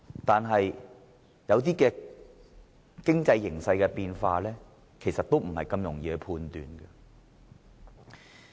但是，有些經濟形勢變化其實是不容易判斷的。